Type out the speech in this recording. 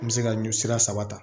N bɛ se ka ɲɔ sira saba ta